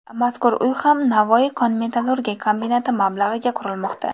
Mazkur uy ham Navoiy kon-metallurgiya kombinati mablag‘iga qurilmoqda.